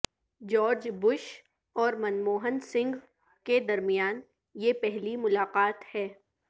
George Bush اور Manmohan Singh کے درمیان یہ پہلی ملاقات ہے